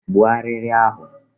Gbuo arịrị ahụ!